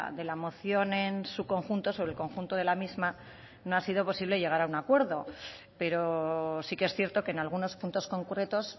de la moción en su conjunto sobre el conjunto de la misma no ha sido posible llegar a un acuerdo pero sí que es cierto que en algunos puntos concretos